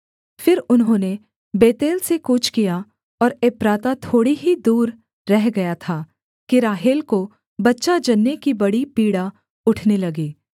फिर उन्होंने बेतेल से कूच किया और एप्राता थोड़ी ही दूर रह गया था कि राहेल को बच्चा जनने की बड़ी पीड़ा उठने लगी